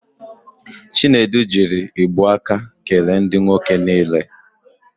Chinedu jiri igbu aka kele ndị nwoke niile.